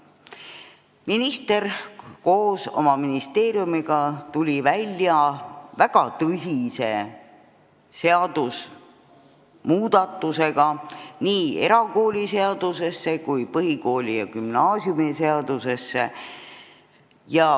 Minister tuli koos oma ministeeriumiga välja väga tõsiste seadusmuudatustega, mis puudutasid nii erakooliseadust kui ka põhikooli- ja gümnaasiumiseadust.